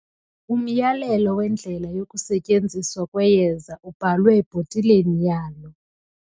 Umyalelo wendlela yokusetyenziswa kweyeza ubhalwe ebhotileni yalo.